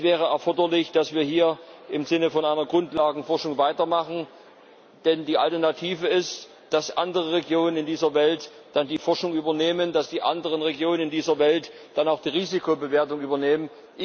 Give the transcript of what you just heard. Es wäre erforderlich, dass wir hier im Sinne einer Grundlagenforschung weitermachen, denn die Alternative ist, dass andere Regionen in dieser Welt dann die Forschung übernehmen, dass die anderen Regionen in dieser Welt dann auch die Risikobewertung übernehmen.